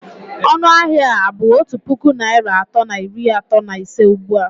Ọnụ ahịa a bụ otu puku naịra atọ na iri atọ na ise ugbu a?